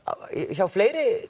hjá fleiri